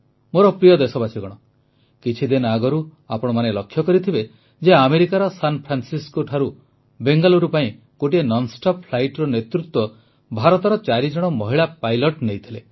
ମୋର ପ୍ରିୟ ଦେଶବାସୀଗଣ କିଛି ଦିନ ଆଗରୁ ଆପଣମାନେ ଲକ୍ଷ୍ୟ କରିଥିବେ ଯେ ଆମେରିକାର ସାନଫ୍ରାନ୍ସିସ୍କୋଠାରୁ ବେଙ୍ଗାଲୁରୁ ପାଇଁ ଗୋଟିଏ ନନ୍ଷ୍ଟପ୍ ଫ୍ଲାଇଟ୍ର ନେତୃତ୍ୱ ଭାରତର ଚାରିଜଣ ମହିଳା ପାଇଲଟ୍ ନେଇଥିଲେ